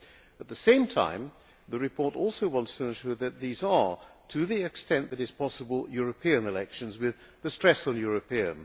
At the same time, the report also wants to ensure that these are, to the extent that is possible, European elections with the stress on European.